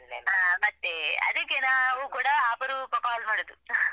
ಹಾ ಮತ್ತೆ ಅದಿಕ್ಕೆ ನಾವು ಕೂಡ ಅಪರೂಪ call ಮಾಡುದು.